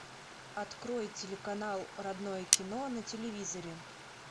открой телеканал родное кино на телевизоре